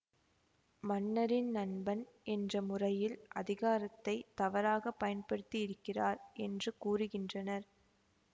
மன்னரின் நண்பன் என்ற முறையில் அதிகாரத்தை தவறாக பயன்படுத்தியிருக்கிறார் என்று கூறுகின்றனர்